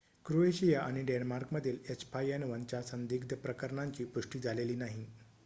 Croatia आणि डेन्मार्कमधील h5n1 च्या संदिग्ध प्रकरणांची पुष्टी झालेली नाही